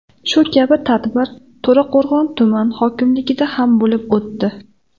Shu kabi tadbir To‘raqo‘rg‘on tuman hokimligida ham bo‘lib o‘tdi.